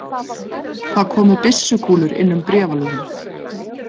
Það komu byssukúlur inn um bréfalúguna.